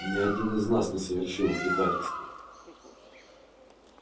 ни один из нас не совершил предательства